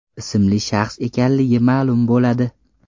ismli shaxs ekanligi ma’lum bo‘ladi.